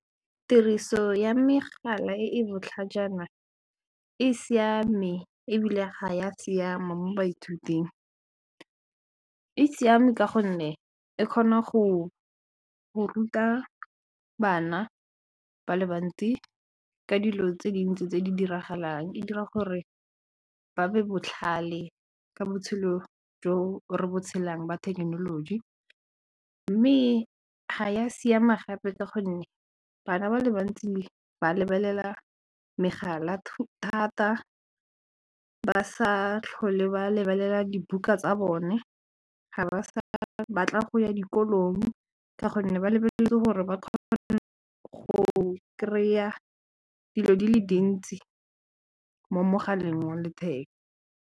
Tiriso ya megala e e botlhajana e siame ebile ga ya siama mo baithuting, e siame ka gonne e kgona go ruta bana ba le bantsi ka dilo tse dintsi tse di diragalang e dira gore ba be botlhale ka botshelo jo re bo tshelang ba thekenoloji mme ga ya siama gape ka gonne bana ba le bantsi ba lebelela megala thata ba sa tlhole ba lebelela dibuka tsa bone, ga ba sa batla go ya dikolong ka gonne ba lebeletse gore ba kgone go kry-a dilo di le dintsi mo mogaleng wa letheka.